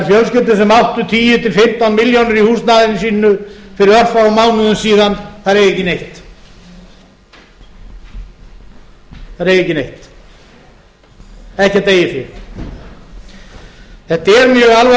tíu til fimmtán milljónir í húsnæðinu sínu fyrir örfáum mánuðum síðan eiga ekki neitt ekkert eigið fé þetta er mjög alvarlegt hæstvirtur forseti